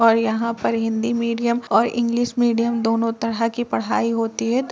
और यहाँ पर हिंदी मीडियम और इंग्लिश मीडियम दोनों तरह की पढ़ाई होती है --